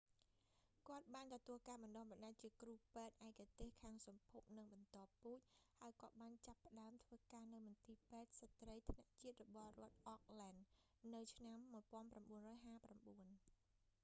គាត់បានទទួលការបណ្តុះបណ្តាលជាគ្រូពេទ្យឯកទេសខាងសម្ភព និងបន្តពូជ ហើយគាត់បានចាប់ផ្តើមធ្វើការនៅមន្ទីរពេទ្យស្ត្រីថ្នាក់ជាតិរបស់រដ្ឋ auckland national women's hospital នៅឆ្នាំ 1959